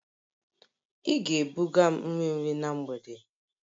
Ị ga-ebuga m nri nri na mgbede!